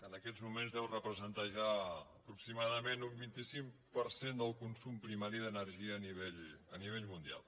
en aquests moments deu representar ja aproximadament un vint cinc per cent del consum primari d’energia a nivell mundial